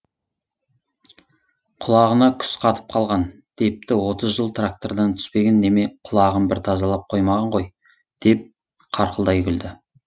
құлағына күс қатып қалған депті отыз жыл трактордан түспеген неме құлағын бір тазалап қоймаған ғой деп қарқылдай күлді